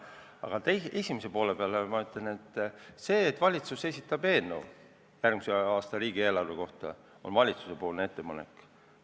Aga esimese poole kohta ütlen, et see, kui valitsus esitab järgmise aasta riigieelarve eelnõu, siis see on valitsuse ettepanek.